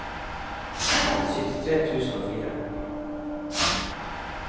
syttitre tusen og fire